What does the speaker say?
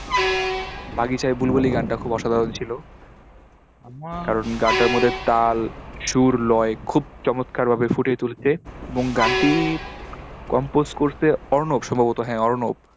বাগিচায় বুলবুলি গানটা খুব অসাধারণ ছিল। আমার, কারণ গানটার মধ্যে তাল, সুর, লয় খুব চমৎকারভাবে ফুটিয়ে তুলেছে। এবং গানটি compose করসে অর্ণব সম্ভবত, হ্যা অর্ণব।